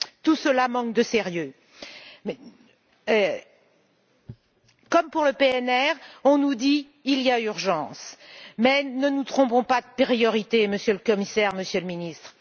Tout cela manque de sérieux. Comme pour le PNR, on nous dit il y a urgence. Mais ne nous trompons pas de priorité, Monsieur le Commissaire, Monsieur le Ministre.